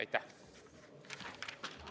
Aitäh!